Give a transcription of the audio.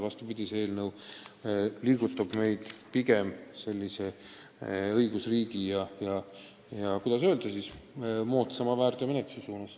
Vastupidi, see eelnõu suunab meid pigem õigusriigi ja, kuidas öelda, moodsama väärteomenetluse suunas.